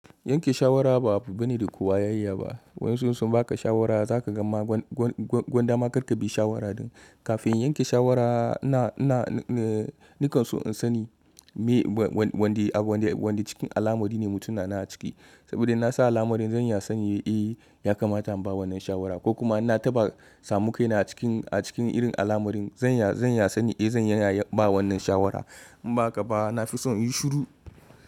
Yanke shawara ba abu bane da kowa ya iya ba. Wayan su insun baka shawara zaka gama gwan dama kar ka bi shawara din. Kafin yanke shawara na nikan so in sani wanda cikin alamari ne mutumin na a ciki. Saboda na sa alamarin zan iya sani eh ya kamata in ba wannan shawara ko kuma na taɓa samu kai na a cikin a cikin irin alamar din zan iya sani eh zan iya ba wannan shawara. In ba ka ba na fi son in yi shiru.